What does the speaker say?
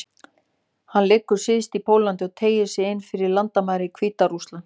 Hann liggur syðst í Póllandi og teygir sig inn fyrir landamæri Hvíta-Rússlands.